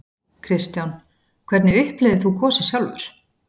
Kristján: Hvernig upplifðir þú gosið sjálfur?